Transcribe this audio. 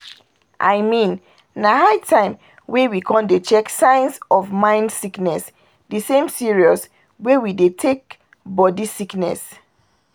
i mean na high time wey we con dey check signs of mind sickness de same serious way we dey take body sickness!"